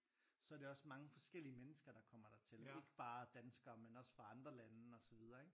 Så det også mange forskellige mennesker der kommer dertil ikke bare danskere men også fra andre lande og så videre ikke